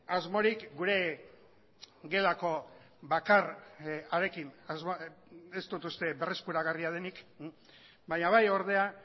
asmorik gure gelako bakar harekin ez dut uste berreskuragarria denik baina bai ordea